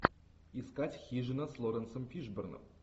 искать хижина с лоуренсом фишборном